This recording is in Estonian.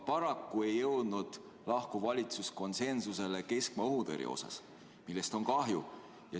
Paraku ei jõudnud lahkuv valitsus konsensusele keskmaa-õhutõrje osas, millest on kahju.